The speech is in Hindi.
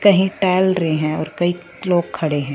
कहीं टहल रहे हैं और कई लोग खड़े हैं।